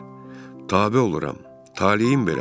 Tabe oluram, taleyim belədir.